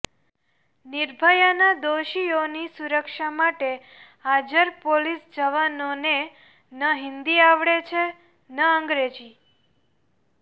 નિર્ભયાના દોષિયોની સુરક્ષા માટે હાજર પોલીસ જવાનોને ન હિન્દી આવડે છે ન અંગ્રેજી